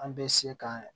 An bɛ se ka